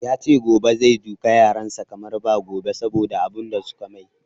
Yace gobe zai duka yaran sa kamar ba gobe saboda abun da suka mai